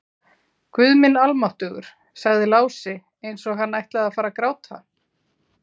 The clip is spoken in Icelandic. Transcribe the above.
Guð minn almáttugur, sagði Lási eins og hann ætlaði að fara að gráta.